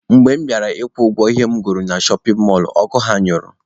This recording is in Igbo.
Mgbe mụ bịara ịkwụ ụgwọ ihe m goro na shọpin mọlụ, ọkụ ha anyụọ